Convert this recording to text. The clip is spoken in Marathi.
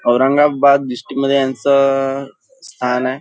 औरंगाबाद डिस्ट्रिक्ट मध्ये ह्यांच अ स्थान आहे.